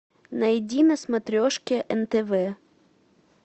найди на смотрешке нтв